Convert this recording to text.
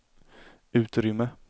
utrymme